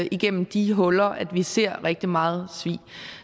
igennem de huller at vi ser rigtig meget svig